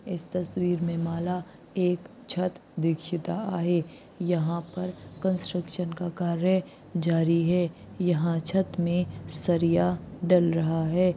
इस तसवीर में माला एक छत दीक्षिता आहे यहां पर कंस्ट्रक्शन निर्माण का कार्य जारी है यहां छत में सरिया डाल रहा है।